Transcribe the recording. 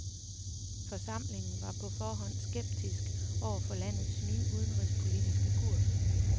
Forsamlingen var på forhånd skeptisk over for landets nye udenrigspolitiske kurs.